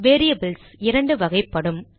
variables இரண்டு வகைப்படும்